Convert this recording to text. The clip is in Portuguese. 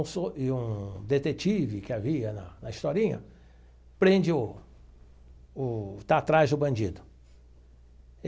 Um so e um detetive que havia na na historinha prende o o está atrás do bandido.